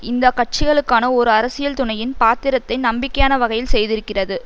இந்த கட்சிகளுக்கான ஓர் அரசியல் துணையின் பாத்திரத்தை நம்பிக்கையான வகையில் செய்திருக்கிறது